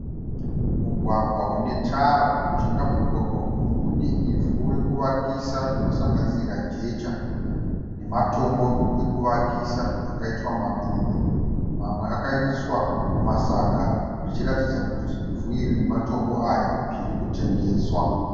Mugwagwa une tara , mujinga memugwagwa uyu mune ivhu rekuvakisa rinosanganisira jecha nematombo ekuvakisa akaitwa matutu . Mamwe akaiswa mumasaga zvichiratidza kuti ivhu iri nematombo aya zvirikutengeswa.